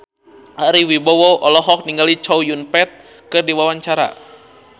Ari Wibowo olohok ningali Chow Yun Fat keur diwawancara